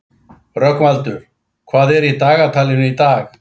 Rögnvaldur, hvað er í dagatalinu í dag?